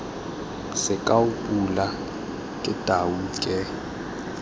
sekao pule ke tau ke